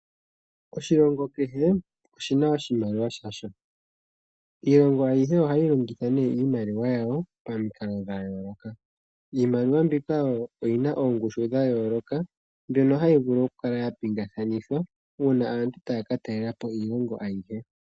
Oshilongo kehe oshina oshimaliwa shasho, iilongo ayihe ohayi longitha nee iimaliwa yawo pamikalo dha yooloka. Iimaliwa mbika oyina ongushu dhayooloka mbyono hayi vulu oku kala ya pinga kanithwa uuna aantu taa ka talelapo iilongo ayihe.